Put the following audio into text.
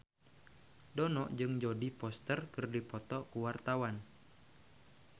Dono jeung Jodie Foster keur dipoto ku wartawan